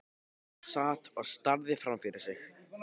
Hún sat og starði framfyrir sig.